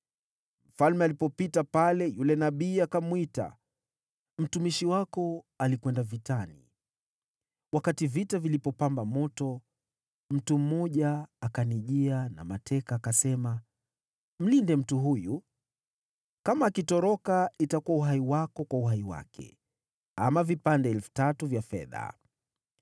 Mfalme alipopita pale, yule nabii akamwita, “Mtumishi wako alikwenda vitani wakati vita vilipopamba moto, mtu mmoja akanijia na mateka akasema, ‘Mlinde mtu huyu. Kama akitoroka itakuwa uhai wako kwa uhai wake, ama vipande 3,000 vya fedha.’